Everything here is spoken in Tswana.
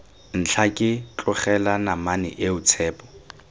ntlhake tlogela namane eo tshepo